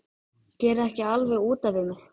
Gerið ekki alveg út af við mig!